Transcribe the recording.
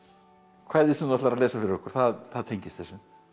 kvæðið sem þú ætlar að lesa fyrir okkur það það tengist þessu